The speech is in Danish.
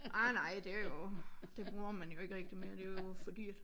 Ej nej det jo det bruger man jo ikke rigtig mere det jo for dyrt